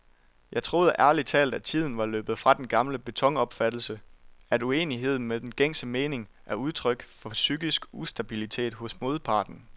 Jeg troede ærligt talt, tiden var løbet fra den gamle betonopfattelse, at uenighed med den gængse mening er udtryk for psykisk ustabilitet hos modparten.